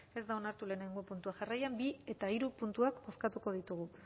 ez da onartu lehenengo puntua jarraian bi eta hiru puntuak bozkatuko ditugu